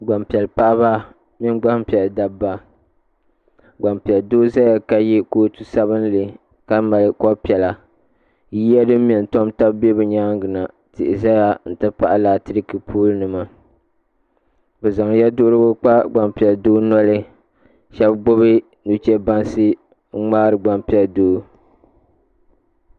Gbanpiɛli paɣaba mini gbanpiɛli dabba. Gbanpiɛli doo ʒɛya ka ye kootu sabinli ka mali kɔb piɛla. Yiya din me n tam taba be bɛ nyaaŋa na. Tihi ʒɛya n ti pahi latriki poolnima. Bɛ zan yeduhirigu kpa gbanpiɛli doo noli. Shebi gbubi nuche bansi n ŋmaari gbanpieli doo.